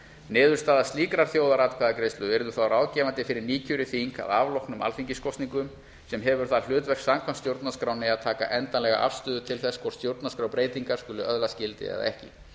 niðurstaða slíkrar þjóðaratkvæðagreiðslu yrði þá ráðgefandi fyrir nýkjörið þing að afloknum alþingiskosningum sem hefur það hlutverk samkvæmt stjórnarskránni að taka endanlega afstöðu til þess hvort stjórnarskrárbreytingarnar skuli öðlast gildi eða ekki